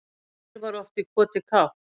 Fyrr var oft í koti kátt